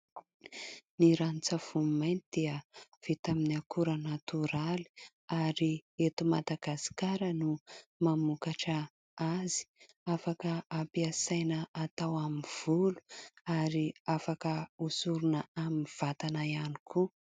Ny ranon-tsavony mainty dia vita amin'ny akora natoraly, ary eto Madagasikara no mamokatra azy ; afaka hampiasaina hatao amin'ny volo ary afaka hosorona amin'ny vatana ihany koa.